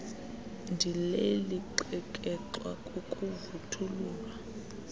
ndileli xekexwa kukuvuthululwa